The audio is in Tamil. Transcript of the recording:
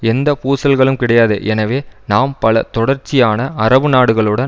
எந்த பூசல்களும் கிடையாது எனவே நாம் பல தொடர்ச்சியான அரபு நாடுகளுடன்